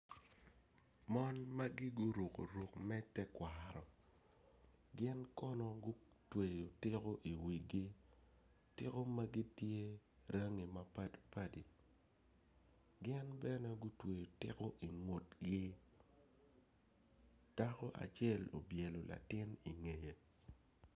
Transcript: Mon magi guruku ruk me tekwaro gin kono gutweyo tiko i wigi tiko magi tye rangi mapadipadi gin bene gutweyo tiko ingutgi dako acel obyelo latin ingeye